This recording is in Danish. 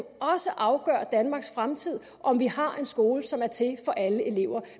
også afgør danmarks fremtid om vi har en skole som er til for alle elever